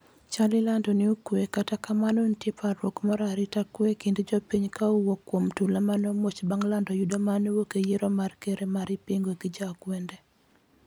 chal ilando ni okwe kata kamano nitie parruok mar arita kwe e kind jopiny ka owuok kuom tula maneomuoch bang' lando yudo maneowuok e yiero mar ker ma ipingo gi jo akwede